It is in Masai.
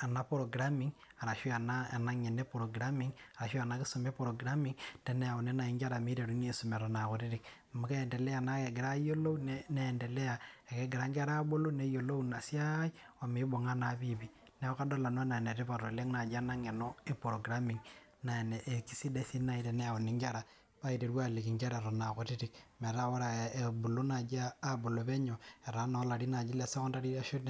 ana programming arashu ana ng'eno e programming arashu ana nkisuma e programming teneauni naa nkera maitaru aisuma eto era kutitik amu kentelea naa egira ayiolou neentelea ake egira nkera aabulu, neyiolou ina siai omeibung'a naa piipii. Naaku adol nanu anaa enetipat oleng naaji ena ng'eno e programming naa esiai sidsai sii ninye nai teneyauni nkera eiteru aaliki nkera eton era kutiti mataa ore ebulu naaji aabulu peneu, etaa naa ilarin le sokondari ashu